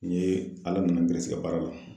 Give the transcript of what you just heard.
N ye ka baara la